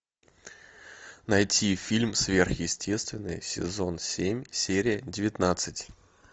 найти фильм сверхъестественное сезон семь серия девятнадцать